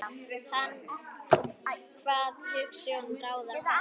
Hann kvað hugsjón ráða ferð.